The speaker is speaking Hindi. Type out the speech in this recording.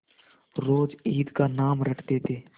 रोज ईद का नाम रटते थे